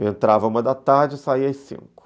Eu entrava uma da tarde e saia às cinco.